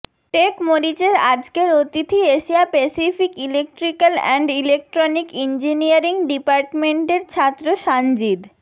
টেকমরিচের আজকের অতিথি Asia pacific electrical and electronic engineering ডিপার্টমেন্টের ছাত্র সানজিদ